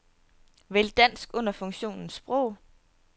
Vælg dansk under funktionen sprog.